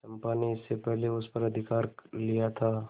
चंपा ने इसके पहले उस पर अधिकार कर लिया था